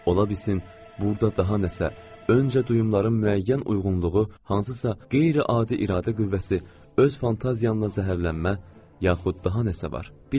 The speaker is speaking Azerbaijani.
Ola bilsin burada daha nəsə, öncə duyumların müəyyən uyğunluğu, hansısa qeyri-adi iradə qüvvəsi, öz fantaziyana zəhərlənmə, yaxud daha nəsə var.